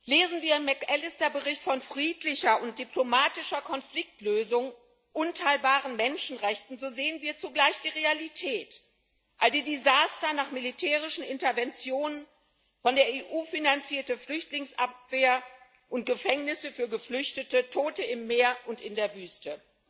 Lesen wir im McAllister Bericht von friedlicher und diplomatischer Konfliktlösung und unteilbaren Menschenrechten, so sehen wir zugleich die Realität All die Desaster nach militärischen Interventionen, von der EU finanzierte Flüchtlingsabwehr und Gefängnisse für Geflüchtete, Tote im Meer und in der Wüste.